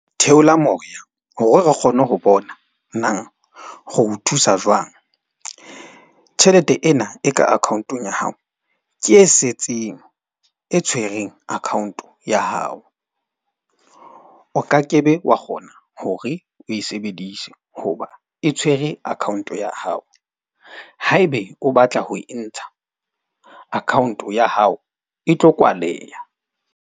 Theola moya hore re kgone ho bona nang re o thusa jwang. Tjhelete ena e ka account-ong ya hao. Ke e setseng e tshwereng account ya hao. O ka ke be wa kgona hore o e sebedise. Hoba e tshwere account-o ya hao. Haebe o batla ho e ntsha account-o ya hao e tlo kwaleha.